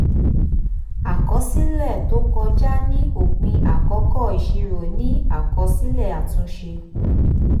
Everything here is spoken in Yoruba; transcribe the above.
àkọsílẹ̀ tó kọjá ni òpin àkókò ìṣirò ni àkọsílẹ̀ àtúnṣe.